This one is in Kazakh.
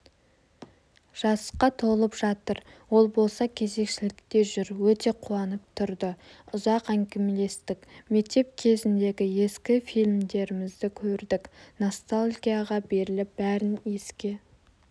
жасқа толып жатыр ол болса кезекшілікте жүр өте қуанып тұрды ұзақ әңгімелестік мектеп кезіндегі ескі фильмдерімізді көрдік ностальгияға беріліп бәрін еске